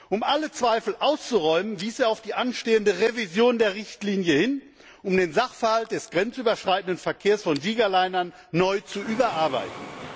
Um alle Zweifel auszuräumen, wies er auf die anstehende Revision der Richtlinie hin, um den Sachverhalt des grenzüberschreitenden Verkehrs von Gigalinern neu zu überarbeiten.